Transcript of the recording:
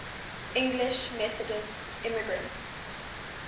english methodist immigrants